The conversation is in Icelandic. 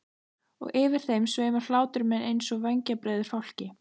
Og yfir þeim sveimar hlátur minn einsog vængjabreiður fálki.